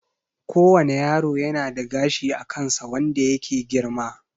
Ko wane yaro yana da gashi a kansa wanda yake girma